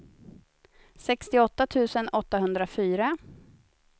sextioåtta tusen åttahundrafyra